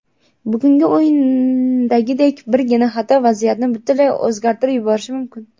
Bugungi o‘yindagidek birgina xato vaziyatni butunlay o‘zgartirib yuborishi mumkin.